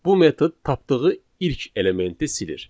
Bu metod tapdığı ilk elementi silir.